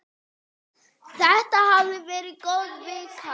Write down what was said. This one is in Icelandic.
Þetta hafði verið góð vika.